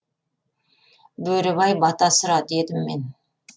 бөрібай бата сұра дедім мен